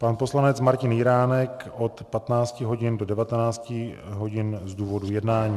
Pan poslanec Martin Jiránek od 15 hodin do 19 hodin z důvodu jednání.